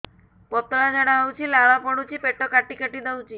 ପତଳା ଝାଡା ହଉଛି ଲାଳ ପଡୁଛି ପେଟ କାଟି କାଟି ଦଉଚି